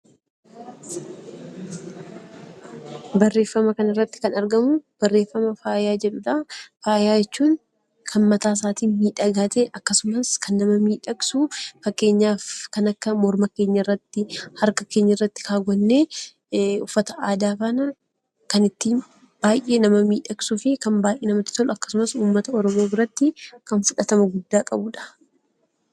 Barreeffama kana irratti kan argamu barreeffama 'Faaya' jedhu dha. Faaya jechuun kan mataa isaatiin miidhagaa ta'ee akkasumas nama miidhagsu, fakkeenyaaf kan akka morma keenya irratti, harka keenya irratti kaawwannee, uffata aadaa faana kan ittiin baay'ee nama miidhagsuu fi kan baay'ee nama tti tolu akkasumas uummata Oromoo biratti kan fudhatama guddaa qabu dha.